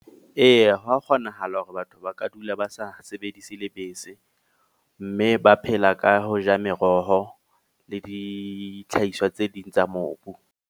Eya hwa kgonahala hore batho ba ka dula ba sa sebedise lebese. Mme ba phela ka ho ja meroho le dithlahiswa tse ding tsa mobu.